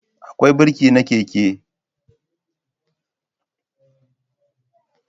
Akwai birki na keke